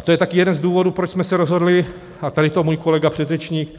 A to je také jeden z důvodů, proč jsme se rozhodli, a tady to můj kolega předřečník